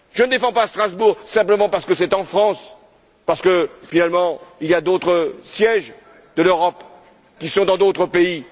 Je ne défends pas Strasbourg simplement parce que c'est en France, parce que, finalement, il y a d'autres sièges de l'Europe qui sont dans d'autres pays.